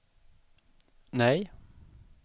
nej